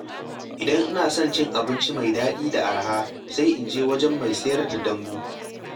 Idan ina son cin abinci mai daɗi da araha, sai in je wajen mai sayar da dambu.